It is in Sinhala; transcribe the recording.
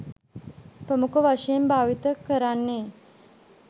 ප්‍රමුඛ වශයෙන් භාවිත කරන්නේ.